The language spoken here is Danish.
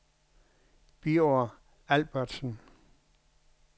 Birger Albertsen